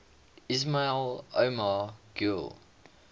ismail omar guelleh